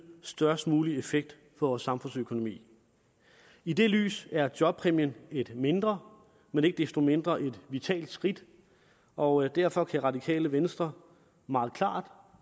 størst mulig effekt for vores samfundsøkonomi i det lys er jobpræmien et mindre men ikke desto mindre vitalt skridt og derfor kan radikale venstre meget klart